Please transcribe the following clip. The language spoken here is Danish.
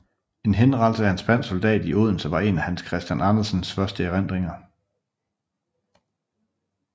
En henrettelse af en spansk soldat i Odense var en af Hans Christian Andersens første erindringer